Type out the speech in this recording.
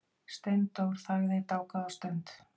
Steindór þagði dágóða stund.